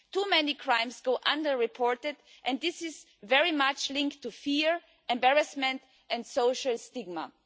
Too many crimes go unreported, and this is very much linked to fear, embarrassment and social stigma.